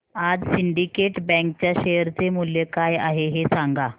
आज Syndicate Bank च्या share चे मूल्य काय आहे हे सांगा